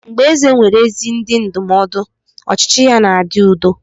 Mgbe eze nwere ezi ndị ndụmọdụ, ọchịchị ya na-adị udo.